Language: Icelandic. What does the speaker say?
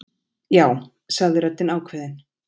Já, sagði röddin ákveðin.